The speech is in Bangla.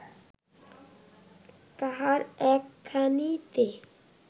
তাহার একখানিতে